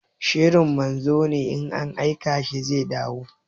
Sharri manzo ne, in an aika shi zai dawo.